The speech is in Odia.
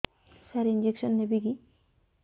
ସାର ଇଂଜେକସନ ନେବିକି